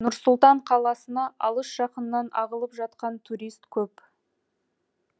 нұр сұлтан қаласына алыс жақыннан ағылып жатқан турист көп